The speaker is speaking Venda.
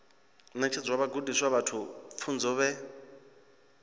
ṋetshedza vhagudiswa vhashu pfunzo vhe